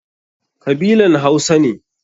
Kabilan Hausa ne.